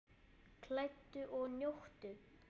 Kældu og njóttu!